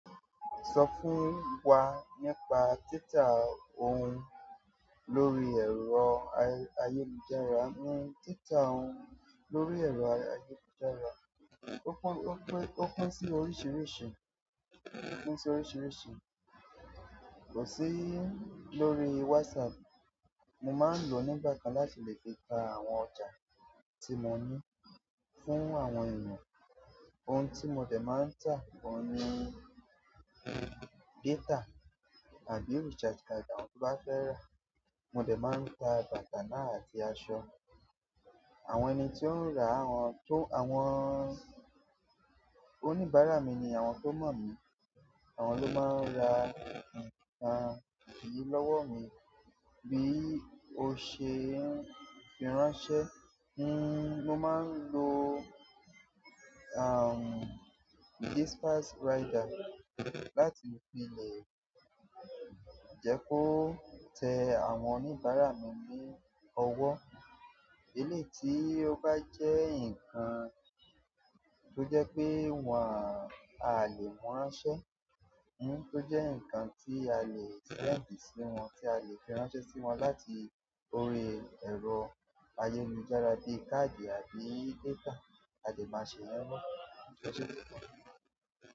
Sọ fún wa nípa títà ohun lórí ẹ̀rọ ayélujára. Ohun tita o lórí ero ayélujára, o pín si oríṣiríṣi, o pín si oríṣiríṣi, ko si lórí whatsapp. Mo máa ń lò nígbà kan láti lè fi ta àwọn ọjà tí mo ní fún àwọn ènìyàn. Ohun tí mo dẹ̀ máa ń tà gan ni data àbí recharge card àwọn tó bá fẹ́ rà. Mo dẹ̀ máa ń ta bàtà náà àti aṣọ. Àwọn ẹni tí ó ń rà awọ́n to n, àwọn oníbàárà mi ni àwọn tó mọ́ mí. Àwọn ló máa ń ra nǹkan yìí lọ́wọ́ mi bí o ṣe n fi ránṣẹ́ fún. Mò máa ń lo, dispatch rider láti fi lè jẹ́ kó tẹ àwọn oníbàárà mi ní ọwọ́. Eleyi tí ó bá jẹ́ nǹkan tó jẹ́ pé wọ́n a lè mú ránṣẹ́, tó jẹ́ nǹkan tí a lè send sí wọn, tí a lè fi ránṣẹ́ sí wọn láti orí ẹ̀rọ ayélujára bi káàdì àbí data, a dè máa sẹ yẹn náà.